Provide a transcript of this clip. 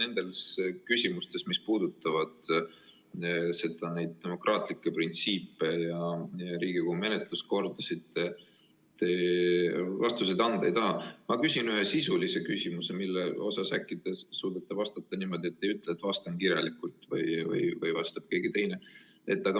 Kuna nendele küsimustele, mis puudutavad demokraatlikke printsiipe ja meie Riigikogu menetluskorda, te vastuseid anda ei taha, siis ma küsin ühe sisulise küsimuse, millele te äkki suudate vastata niimoodi, et te ei ütle, et vastan kirjalikult või vastab keegi teine.